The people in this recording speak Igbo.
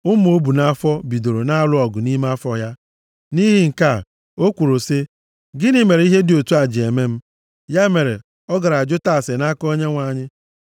Ụmụ o bu nʼafọ bidoro na-alụ ọgụ nʼime afọ ya. Nʼihi nke a, o kwuru sị, “Gịnị mere ihe dị otu a ji eme m?” Ya mere, ọ gara jụta ase nʼaka Onyenwe anyị.